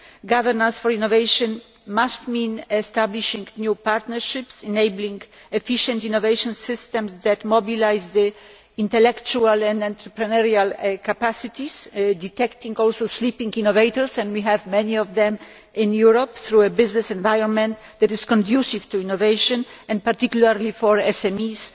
Governance for innovation must mean establishing new partnerships enabling efficient innovation systems that mobilise intellectual and entrepreneurial capacities, detecting also sleeping innovators of which we have many in Europe through a business environment that is conducive to innovation, and particularly for SMEs,